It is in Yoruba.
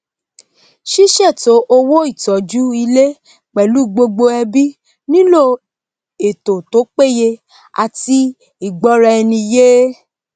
sísètò owó ìtójú ilé pèlú gbogbo ẹbí nílò ètò tó péye àti ìgbóra eni yé